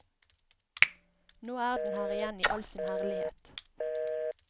Nå er den her igjen i all sin herlighet.